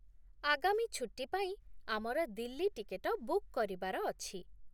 ଆଗାମୀ ଛୁଟୀ ପାଇଁ ଆମର ଦିଲ୍ଲୀ ଟିକେଟ ବୁକ୍ କରିବାର ଅଛି।